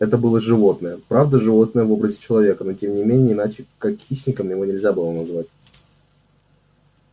это было животное правда животное в образе человека но тем не менее иначе как хищником его нельзя было назвать